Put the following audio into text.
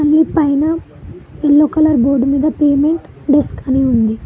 పైన yellow colour board మీద payment desk అని ఉంది.